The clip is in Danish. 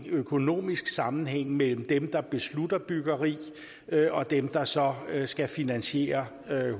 økonomisk sammenhæng mellem dem der beslutter byggeri og dem der så skal finansiere